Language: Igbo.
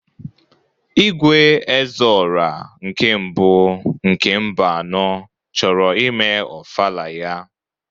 Igwe "Ezeorah nke mbụ" nke Mbano chọrọ ime ofala ya.